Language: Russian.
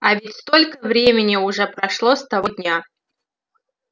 а ведь столько времени уже прошло с того дня